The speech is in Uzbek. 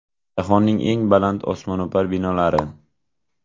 Jahonning eng baland osmono‘par binolari .